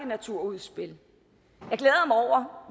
naturudspil